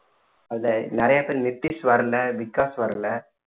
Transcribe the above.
அதுல நிறைய பேரு நித்திஷ் வரல விகாஷ் வரல